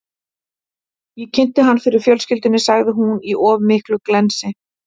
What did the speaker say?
Ég kynnti hann fyrir fjölskyldunni, sagði hún, í of miklu glensi.